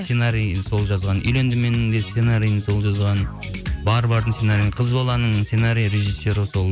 сценариін сол жазған үйлендім менің де сценариін сол жазған бар бардың сценариі қыз баланың сценарий режиссеры сол